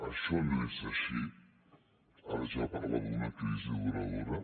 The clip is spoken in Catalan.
això no és així ara ja parla d’una crisi duradora